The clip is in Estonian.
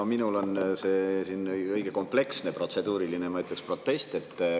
No minul on õige kompleksne protseduuriline, ma ütleksin, protest.